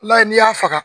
I b'a ye n'i y'a faga